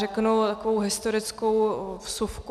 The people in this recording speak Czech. Řeknu takovou historickou vsuvku.